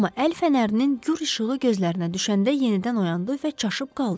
Amma əl fənərinin gur işığı gözlərinə düşəndə yenidən oyandı və çaşıb qaldı.